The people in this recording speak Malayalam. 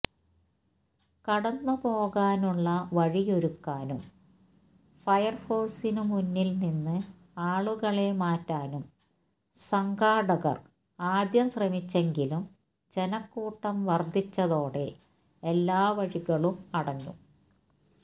കടന്നുപോകാനുള്ള വഴിയൊരുക്കാനും ഫയർഫോഴ്സിന് മുന്നിൽ നിന്ന് ആളുകളെ മാറ്റാനും സംഘാടകർ ആദ്യം ശ്രമിച്ചെങ്കിലും ജനക്കൂട്ടം വർധിച്ചതോടെ എല്ലാ വഴികളും അടഞ്ഞു